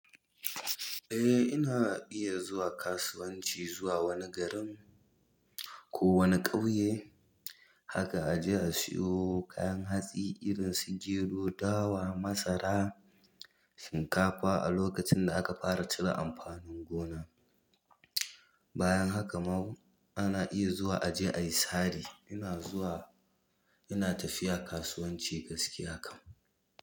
Eh, ina iya zuwa kasuwanci zuwa wani garin ko wani ƙauye. Haka aje a siyo kayan hatsi irin su gedo, dawa, masara, shinkafa a lokacin da aka fara cire amfanin gona. Bayan haka ana iya zuwa aje ayi sari ina zuwa, ina tafiya kasuwanci gaskiya kam.